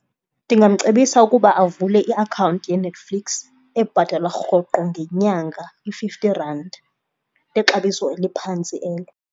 Ndingamcebisa ukuba avule iakhawunti yeNetflix ebhatalwa rhoqo ngenyanga i-fifty randi exabiso eliphantsi elo.